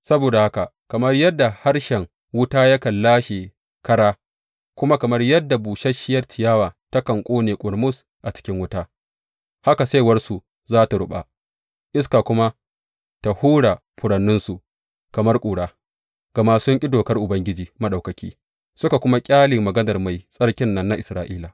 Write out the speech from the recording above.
Saboda haka kamar yadda harshen wuta yakan lashe kara kuma kamar yadda busasshiyar ciyawa takan ƙone ƙurmus a cikin wuta, haka saiwarsu za su ruɓa iska kuma ta hura furanninsu kamar ƙura; gama sun ƙi dokar Ubangiji Maɗaukaki suka kuma ƙyale maganar Mai Tsarkin nan na Isra’ila.